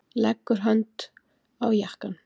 Leggur hönd á jakkann.